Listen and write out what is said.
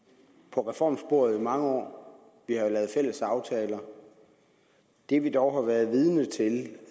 på reformsporet i mange år vi har jo lavet fælles aftaler det vi dog har været vidne til